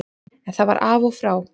En það var af og frá.